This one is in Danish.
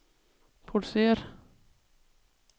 produceret